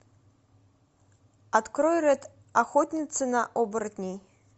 открой рэд охотница на оборотней